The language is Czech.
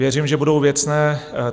Věřím, že budou věcné.